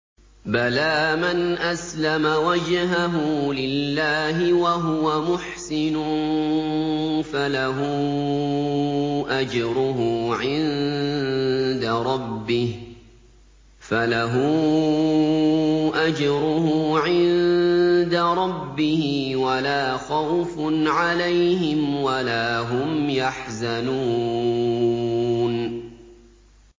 بَلَىٰ مَنْ أَسْلَمَ وَجْهَهُ لِلَّهِ وَهُوَ مُحْسِنٌ فَلَهُ أَجْرُهُ عِندَ رَبِّهِ وَلَا خَوْفٌ عَلَيْهِمْ وَلَا هُمْ يَحْزَنُونَ